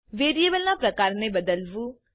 variable ના પ્રકારને બદલવું